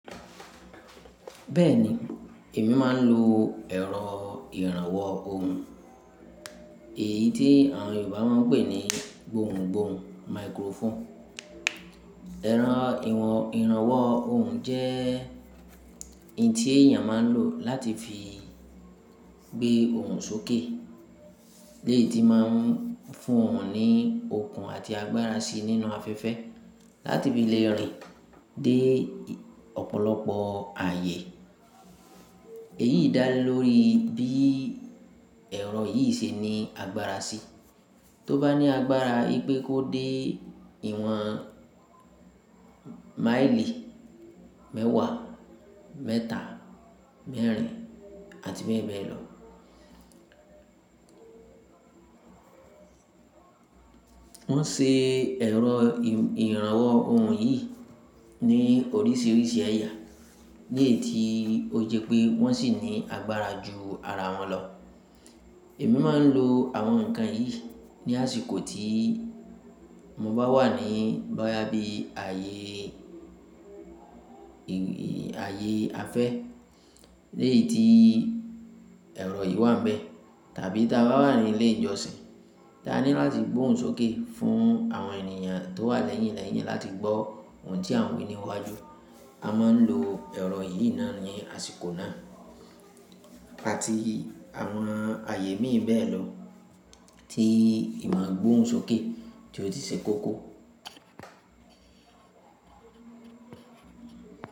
Bẹ́ẹ̀ni, èmi máa ń lo ẹ̀rọ ìrànwọ́ ohùn, èyí tí àwọn Yorùbá máa ń pè ní gbóhùn-gbóhùn, microphone. Ẹ̀rọ ìrànwọ́ ohùn jẹ́ ohun tí èèyàn máa ń lò láti fi gbé ohùn sókè. Léyi tí máa ń fún ọ̀hun ní okun àti agbára sí nínú afẹ́fẹ́ láti fi lẹ́yọ̀rí dé ọ̀pọ̀lọpọ̀ ààyè. Èyí dá le lórí bí ẹ̀rọ yìí se ní agbára sí, tó bá ní agbára wipé kó dé ìwọ̀n máìlì mẹ́wàá, mẹ́ta, mẹ́rin, àti bẹ́ẹ̀ bẹ́ẹ̀ lọ. Wọ́n ṣe ẹ̀rọ ìrànwọ́ ohùn yìí ní oríṣiríṣi ẹ̀yà, léyi tí ó jẹ́ pé wọ́n sì ní agbára ju ara wọn lọ. Èmi máa ń lo àwọn nǹkan yìí ní àsìkò tí mo bá wà ní boyá bí ààyè afẹ́ léyi tí i ẹ̀rọ yìí wà ńbẹ tàbí tí a bá wà ní ilé ìjọsìn, tí a ní láti gbóhùn sókè fún àwọn ènìyàn tó wà lẹ́yìn-lẹ́yìn láti gbọ́ ohun tí àwọn wí níwájú. A máa ń lo ẹ̀rọ yìí náà ní àsìkò náà àti àwọn ààyè mìíràn bẹ́ẹ̀ lọ tí ìmọ̀gbóhùn sókè tí ó ti ṣe kókó.